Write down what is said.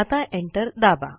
आता एंटर दाबा